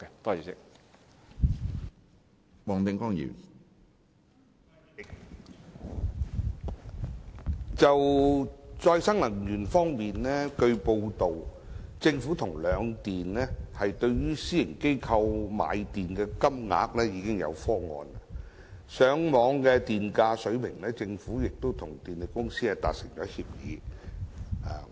主席，據報道，在再生能源方面，政府與兩電對私營機構購買電力的金額已訂下方案；而就上網電價水平而言，政府亦與電力公司達成協議。